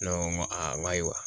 Ne ko n ko aa, ayiwa